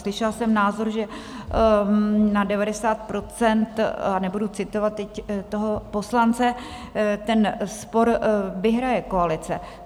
Slyšela jsem názor, že na 90 %, a nebudu citovat teď toho poslance, ten spor vyhraje koalice.